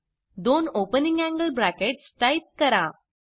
दोन opening angle brackets type करा